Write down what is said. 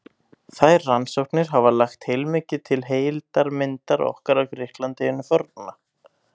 Þær rannsóknir hafa lagt heilmikið til heildarmyndar okkar af Grikklandi hinu forna.